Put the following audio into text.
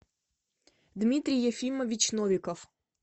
дмитрий ефимович новиков